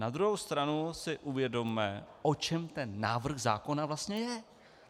Na druhou stranu si uvědomme, o čem ten návrh zákona vlastně je.